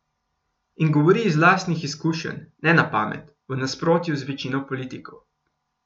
In govori iz lastnih izkušenj, ne na pamet, v nasprotju z večino politikov.